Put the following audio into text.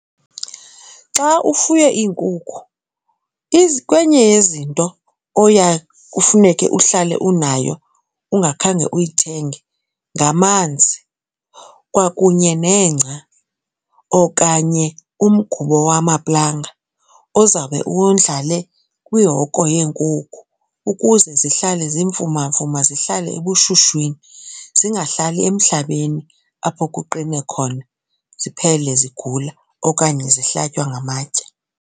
Xa ufuye iinkukhu kwenye yezinto oya kufuneke uhlale unayo ungakhange uyithenge ngamanzi kwakunye nengca okanye umgubo wamaplanga ozawube uwondlale kwiihoko yeenkukhu ukuze zihlale zimfumamfuma zihlale ebushushwini zingahlali emhlabeni apho kuqine khona ziphele zigula okanye zihlatywa ngamagatye.